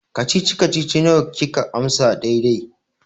Kacici-kacici nawa kika amsa daidai?